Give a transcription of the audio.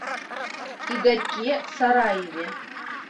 игорьке сараеве